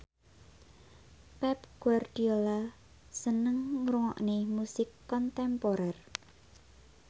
Pep Guardiola seneng ngrungokne musik kontemporer